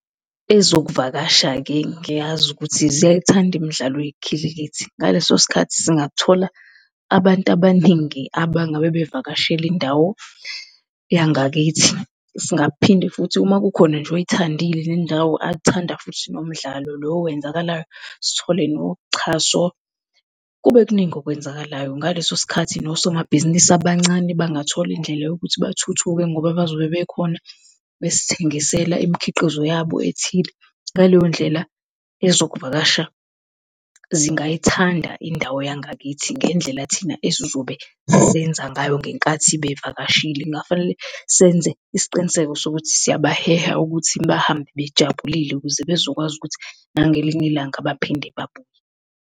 Ezokuvakasha-ke ngiyazi ukuthi ziyayithanda imidlalo yekhilikithi. Ngaleso sikhathi singathola abantu abaningi abangaba bevakashela indawo yangakithi. Singaphinde futhi, uma kukhona nje oyithandile le ndawo athanda futhi nomdlalo lo owenzakalayo, sithole noxhaso, kube kuningi okwenzakalayo, ngaleso sikhathi nosomabhizinisi abancane bangathola indlela yokuthi bathuthuke ngoba bazobe bekhona, besithengisela imikhiqizo yabo ethile. Ngaleyo ndlela ezokuvakasha zingayithanda indawo yangakithi ngendlela thina esizobe senza ngayo ngenkathi bevakashile. Kungafanele senze isiqiniseko sokuthi siyabaheha ukuthi bahambe bejabulile ukuze bezokwazi ukuthi nangelinye ilanga baphinde babuye.